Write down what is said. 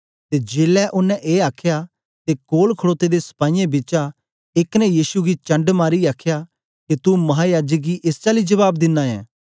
ते जेलै ओनें ए आखया ते कोल खडोते दे सपाईयें बिचा एक ने यीशु गी चंढ मारीयै आखया के तू महायाजक गी एस चाली जबाब दिना ऐ